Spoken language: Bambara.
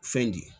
Fɛn di